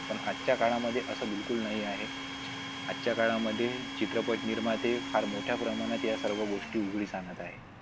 पण आजच्या काळामध्ये असं बिलकुल नाही आहे आजच्या काळामध्ये चित्रपट निर्माते फार मोठ्या प्रमाणात या सर्व गोष्टी उघडीस आणत आहेत.